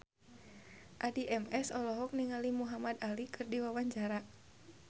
Addie MS olohok ningali Muhamad Ali keur diwawancara